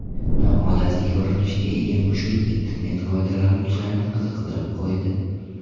Noodatiy ko‘rinishga ega mushuk internet foydalanuvchilarini qiziqtirib qo‘ydi .